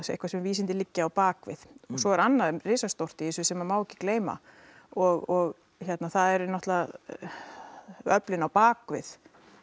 eitthvað sem vísindi liggja á bak við svo er annað risastórt í þessu sem má ekki gleyma og það eru öflin á bak við